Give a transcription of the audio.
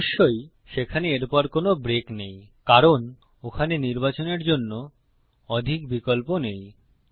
অবশ্যই সেখানে এরপর কোনো ব্রেক নেই কারণ ওখানে নির্বাচনের জন্য অধিক বিকল্প নেই